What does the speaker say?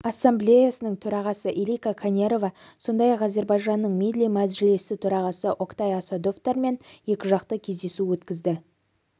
ассамблеясының төрағасы илкка канерва сондай-ақ зербайжанның милли маджилиси төрағасы октай асадовтар мен екіжақты кездесу өткізді